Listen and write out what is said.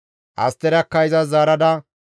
Asterakka izas zaarada,